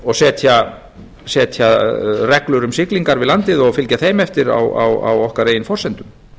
og setja reglur um siglingar við landið og fylgja þeim eftir á okkar eigin forsendum